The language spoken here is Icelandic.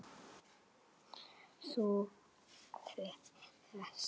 Út af.